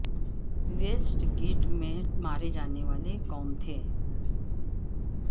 waste get میں مارے جانے والے کون تھے